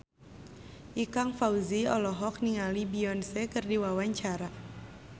Ikang Fawzi olohok ningali Beyonce keur diwawancara